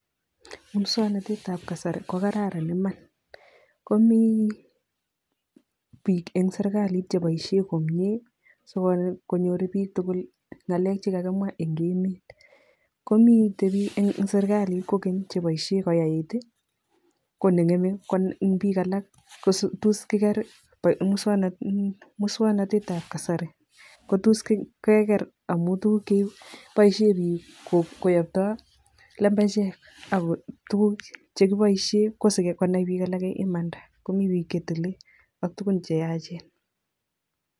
Muswoknatetab kasari kokararan iman, komi biik eng serikalit chepoishe komnye sikonyor chitugul ngalek chekakimwa eng emet. Komitei biik kora eng serikalit chepoishe koyait, konengeme eng biik alak kotos kikeer muswoknatetab kasari, ko tos kekeer amun tuguk che poishe biik koyaptai lembechek ako tuguk chekipoishe ko sikonai biik alake imanda, komi biik chetile ak tugun che yachen.